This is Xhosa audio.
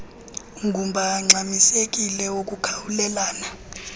ngumba ongxamisekileyo wokukhawulelana